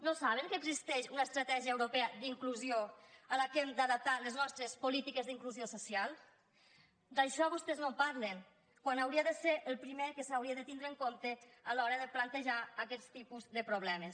no saben que existeix una estratègia europea d’inclusió a la qual hem d’adaptar les nostres polítiques d’inclusió social d’això vostès no en parlen quan hauria de ser el primer que s’hauria de tindre en compte el primer que s’hauria de tenir en compte a l’hora de plantejar aquests tipus de problemes